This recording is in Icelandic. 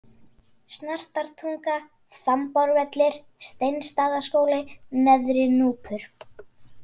Snartartunga, Þambárvellir, Steinsstaðaskóli, Neðri-Núpur